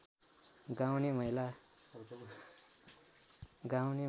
गाउने महिला